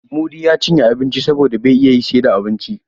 Mudi ya cinye abincin saboda bai iya yi sai da abinci.